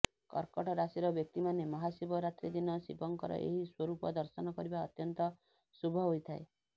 କର୍କଟ ରାଶିର ବ୍ୟକ୍ତିମାନେ ମହାଶିବରାତ୍ରୀ ଦିନ ଶିବଙ୍କର ଏହି ସ୍ୱରୂପ ଦର୍ଶନ କରିବା ଅତ୍ୟନ୍ତ ଶୁଭ ହୋଇଥାଏ